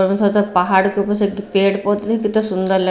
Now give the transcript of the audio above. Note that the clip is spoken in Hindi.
सूंदर लग--